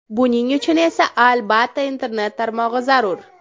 Buning uchun esa, albatta, internet tarmog‘i zarur.